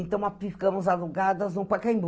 Então, nós ficamos alugadas no Pacaembu.